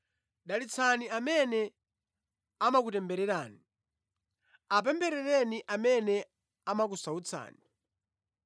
Dalitsani amene amakutembererani, apempherereni amene amakusautsani.